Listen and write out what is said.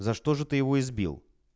за что же ты его избил